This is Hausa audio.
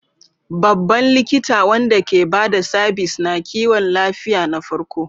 Babban likita wanda ke ba da sabis na kiwon lafiya na farko.